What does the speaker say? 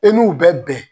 E n'u bɛ bɛn